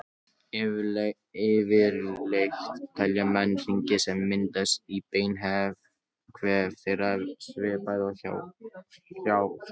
Yfirleitt telja menn hringi sem myndast í beinvef þeirra, svipað og hjá trjám.